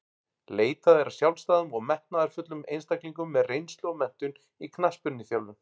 Leitað er að sjálfstæðum og metnaðarfullum einstaklingum með reynslu og menntun í knattspyrnuþjálfun.